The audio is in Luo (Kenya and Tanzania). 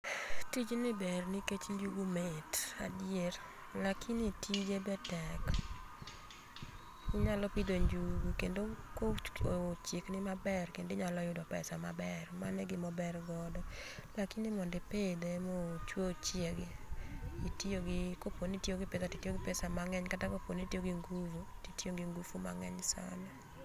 Tijni ber nikech njugu mit adier. Lakini tije be tek. Inyalo pidho njugu kendo kochiek ni maber inyalo yudo pesa maber, mano e gima ober godo. Lakini mondo ipidhe mochuo ochiegi, itiyo gi koponi itiyo gi pesa titiyo gi pesa mang'eny kata kaponi itiyo gi ngufu titiyo gi ngufu mang'eny sana.